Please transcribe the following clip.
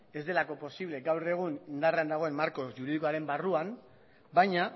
ez delako posible gaur egun indarrean dagoen marko juridikoaren barruan baina